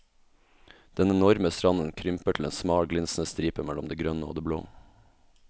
Den enorme stranden krymper til en smal glinsende stripe mellom det grønne og det blå.